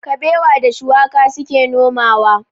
Kabewa da shuwaka su ke nomawa.